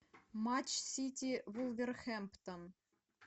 матч сити вулверхэмптон